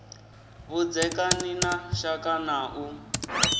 vhudzekani na shaka na u